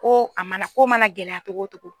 Ko a mana ko mana gɛlɛya cogo o cogo.